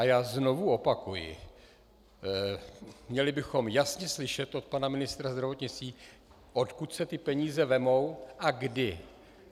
A já znovu opakuji, měli bychom jasně slyšet od pana ministra zdravotnictví, odkud se ty peníze vezmou a kdy.